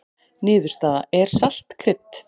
Niðurstaða: Er salt krydd?